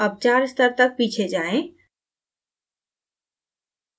अब चार स्तर तक पीछे जाएँ